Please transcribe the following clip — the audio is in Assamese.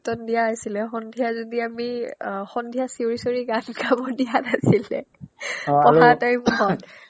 দিয়া আছিলে সন্ধিয়া যদি আমি অ সন্ধিয়া চিঞৰি চিঞৰি গান গাব দিয়া নাছিলে আৰু পঢ়া time ত